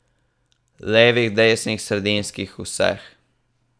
Levih, desnih, sredinskih, vseh.